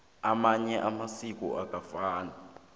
amanye amasiko akafani